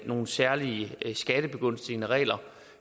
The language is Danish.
nogle særlige skattebegunstigende regler